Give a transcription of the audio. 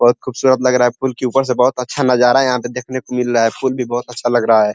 बहोत खूबसूरत लग रहा है। पुल के ऊपर से बहोत अच्छा नजारा यहाँ पे देखने को मिल रहा है। पुल भी बहोत अच्छा लग रहा है।